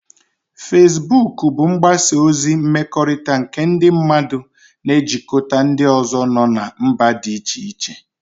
Fesbuk bụ mgbasa ozi mmekọrịta nke ndị mmadụ na-ejikọta ndị ọzọ nọ na mba dị iche iche